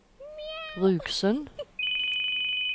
Rugsund